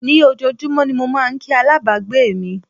Ní ojoojúmọ́ ni mo máà ń kí alábàgbé mi.